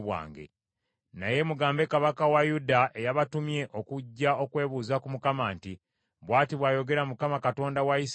Naye mugambe kabaka wa Yuda eyabatumye okujja okwebuuza ku Mukama nti, ‘Bw’ati bw’ayogera Mukama Katonda wa Isirayiri nti,